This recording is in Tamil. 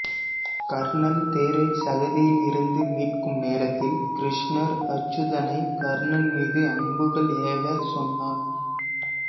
கர்ணன் தேரைச் சகதியில் இருந்து மீட்கும் நேரத்தில் கிருஷ்ணர் அருச்சுனனை கர்ணன் மீது அம்புகள் ஏவச் சொன்னார்